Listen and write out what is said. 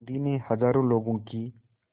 गांधी ने हज़ारों लोगों की